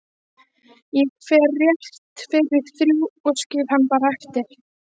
Ég fer rétt fyrir þrjú og skil hann bara eftir